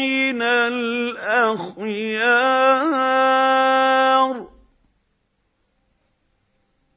مِّنَ الْأَخْيَارِ